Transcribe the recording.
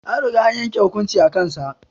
An riga an yanke hukuncin a kan sa